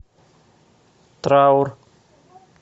траур